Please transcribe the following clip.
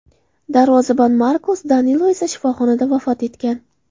Darvozabon Markos Danilo esa shifoxonada vafot etgan.